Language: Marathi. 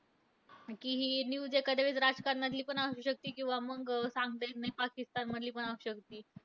कि हि news एखाद्या वेळेस राजकारणातली पण असू शकते. किंवा मंग सांगता येत नाही, पाकिस्तानमधली पण असू शकते.